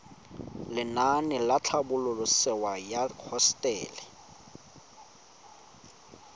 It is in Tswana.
lenaane la tlhabololosewa ya hosetele